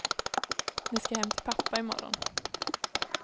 Ni ska hem till pappa imorgon.